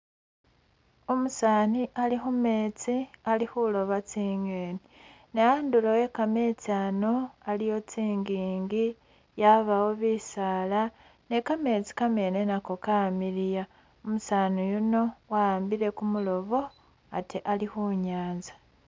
Umusaani ali khumeetsi ali khuloba tsi'ngeni, ne andulo e'kameetsi ano aliwo tsingingi yabawo bisaala ,ne kameetsi nako kamiliya ,umusaani yuno wa'ambile kumulobo ate ali khunyanza